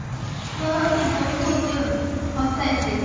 ହଁ ସିଏ ବହୁତ ହସାଏ ସିଏ